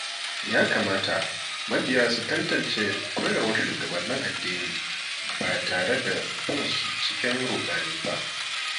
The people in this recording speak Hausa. Ya kamata mabiya su tantance koyarwar shugabannin addini ba tare da bin su cikin ruɗani ba.